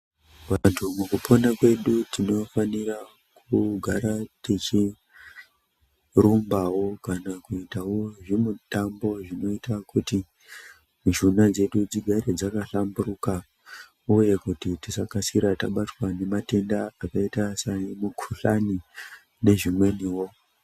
Vantu mukupona kwedu tinofanira kugara tichirimbawo kuitawo zvimutambo zvinoita Kuti mishuna dzedu dzigare dzakahlamburuka uye kuti tisakasira tabatwa nematenda akaita semikuhlani nezvimweniwo.